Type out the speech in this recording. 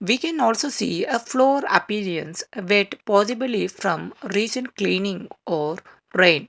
we can also see a floor appearance wet possibly from recent cleaning or rain